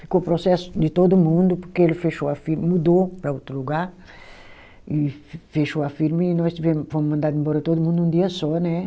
Ficou processo de todo mundo, porque ele fechou a firma, mudou para outro lugar, e fechou a firma e nós tivemos fomos mandado embora todo mundo num dia só, né?